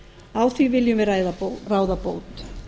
á því viljum við ráða bót